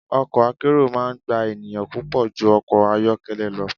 Ọkọ̀ akérò máa ń gba ènìyàn púpọ̀ ju ọkọ̀ ayọ́kẹ́lẹ́ lọ.